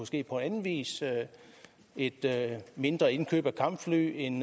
ske på anden vis et mindre indkøb af kampfly en